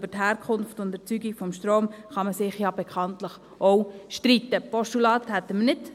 Über die Herkunft und Erzeugung des Stroms kann man sich ja bekanntlich auch streiten.